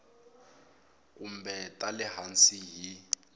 kumbe ta le hansi hi